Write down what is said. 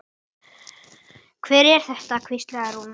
Hver er þetta? hvíslaði Rúna.